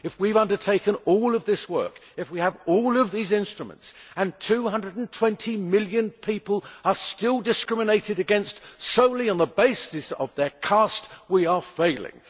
If we have undertaken all of this work, if we have all of these instruments, and 220 million people are still discriminated against solely on the basis of their caste, we are failing.